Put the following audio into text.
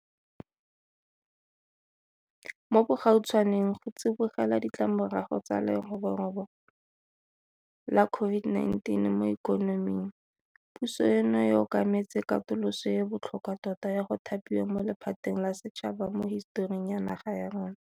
Mo bogautshwaneng, go tsibogela ditlamorago tsa leroborobo la COVID-19 mo ikonoming, puso eno e okametse katoloso e e botlhokwa tota ya go thapiwa mo lephateng la setšhaba mo hisetoring ya naga ya rona.